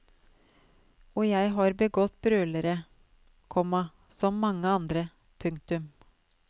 Og jeg har begått brølere, komma som mange andre. punktum